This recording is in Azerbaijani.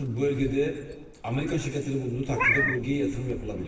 Artıq bu bölgədə Amerika şirkətləri olduğu təqdirdə bu bölgəyə yatırım yapıla bilir.